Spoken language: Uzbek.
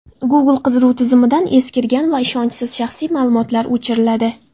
Google qidiruv tizimidan eskirgan va ishonchsiz shaxsiy ma’lumotlar o‘chiriladi.